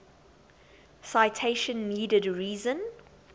citation needed reason